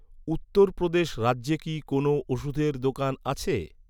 উত্তর প্রদেশ রাজ্যে কি কোনও ওষুধের দোকান আছে?